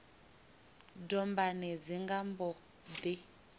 dombani dzi nga mbo ḓi